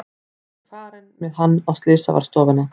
Ég er farin með hann á slysavarðstofuna.